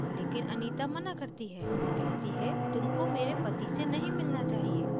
लेकिन anita मना करती है कहती है कि तुमको मेरे पति से नहीं मिलना चाहिए